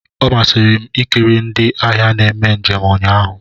Ọ masịrị m ikiri ndị agha na-eme njem ụnyaahụ.